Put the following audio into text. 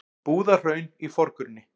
Búðahraun í forgrunni.